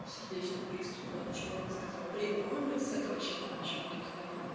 сердечный приступ но от чего он не сказал блин по-моему с этого чата чувак мне рассказывал